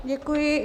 Děkuji.